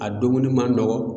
A dumuni man nɔgɔn.